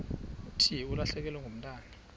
thi ulahlekelwe ngumntwana